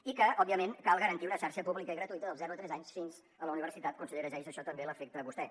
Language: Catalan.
i que òbviament cal garantir una xarxa pública i gratuïta dels zero als tres anys fins a la universitat consellera geis això també l’afecta a vostè